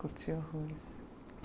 Curtiu o Ruiz.